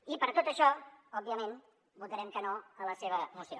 i per tot això òbviament votarem que no a la seva moció